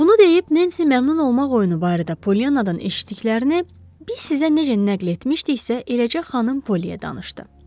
Bunu deyib Nensi məmnun olmaq oyunu barədə Polyanadan eşitdiklərini biz sizə necə nəql etmişdiksə, eləcə xanım Poliyə danışdı.